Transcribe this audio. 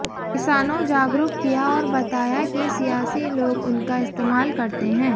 किसानों जागरुक किया और बताया कि सियासी लोग उनका इस्तेमाल करते हैं